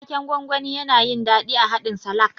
Waken gwangwani, yana yin daɗi a haɗin salak.